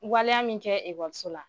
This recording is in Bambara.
Waleya min kɛ wariso la